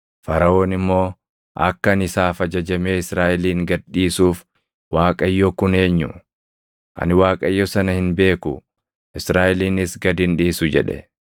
Faraʼoon immoo, “Akka ani isaaf ajajamee Israaʼelin gad dhiisuuf Waaqayyo kun eenyu? Ani Waaqayyo sana hin beeku; Israaʼelinis gad hin dhiisu” jedhe.